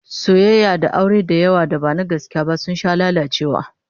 Soyayya da aure da yawa da ba na gaskiya ba sun sha lalacewa